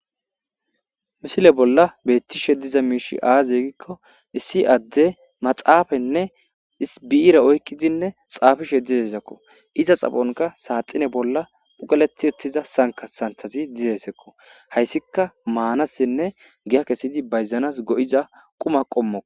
Misile bolla beettishe diza miishi aazegikko issi adde maxaafenne isibiira oykkizinne xaafishe dizezakko iza xafonka saaxine bolla phuqeleti ettiza sanka santhazi dizesakko hayssika maanassinne giya kessidi bayzanas go'iza quma qommoo.